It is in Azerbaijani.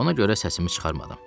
Ona görə səsimi çıxarmadım.